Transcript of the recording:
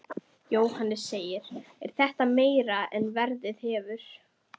Jóhannes: Er þetta meira en verið hefur?